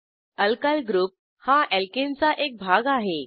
alkyl group हा alkane चा एक भाग आहे